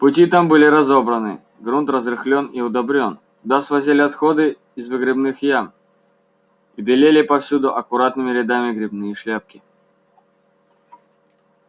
пути там были разобраны грунт разрыхлён и удобрен туда свозили отходы из выгребных ям и белели повсюду аккуратными рядами грибные шляпки